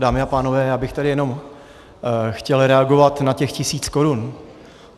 Dámy a pánové, já bych tady jenom chtěl reagovat na těch tisíc korun.